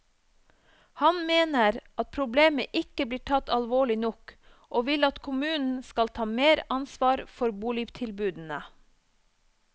Han mener at problemet ikke blir tatt alvorlig nok, og vil at kommunen skal ta mer ansvar for boligtilbudene.